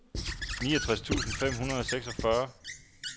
niogtres tusind fem hundrede og seksogfyrre